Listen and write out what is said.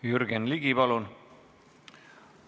Jürgen Ligi, palun!